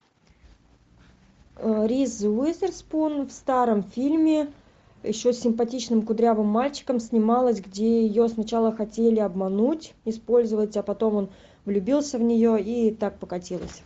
риз уизерспун в старом фильме еще с симпатичным кудрявым мальчиком снималась где ее сначала хотели обмануть использовать а потом он влюбился в нее и так покатилось